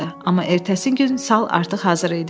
Amma ertəsi gün sal artıq hazır idi.